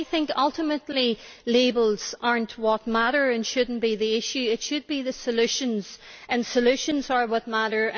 So I think ultimately labels are not what matter and should not be the issue it should be the solutions. Solutions are what matter.